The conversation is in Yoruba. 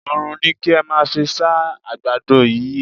Oòrùn ni kí ẹ́ máa fí sá ẹ̀ àgbàdo yí o.